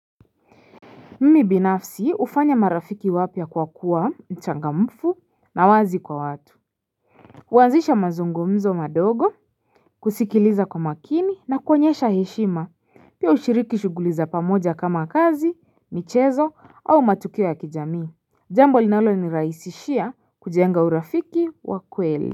Mimi binafsi ufanya marafiki wapya kwa kuwa mchangamfu na wazi kwa watu kuwanzisha mazungumzo madogo kusikiliza kwa makini na kuonyesha heshima pia ushiriki shughuli za pamoja kama kazi michezo au matukio ya kijamii Jambo linaloniraisishia kujenga urafiki wa kweli.